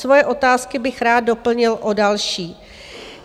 Svoje otázky bych rád doplnil o další.